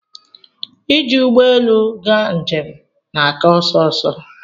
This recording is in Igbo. ị ji ụgbọelu ga njem na aka ọsọ ọsọ